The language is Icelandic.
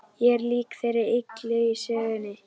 Ég er lík þeirri illu í sögunum.